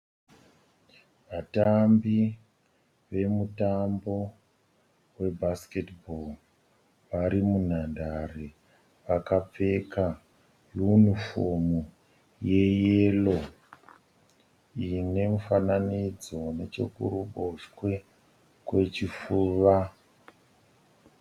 Vatambi vemutambo webhasiketibho vari munhandare. Vakapfeka yunifomu yeyero ine mufananidzo nechekuruboshwe kwechifuva.